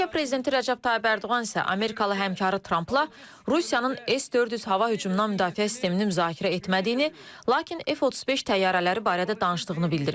Türkiyə prezidenti Rəcəb Tayyib Ərdoğan isə amerikalı həmkarı Trampla Rusiyanın S-400 hava hücumundan müdafiə sistemini müzakirə etmədiyini, lakin F-35 təyyarələri barədə danışdığını bildirib.